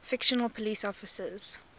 fictional police officers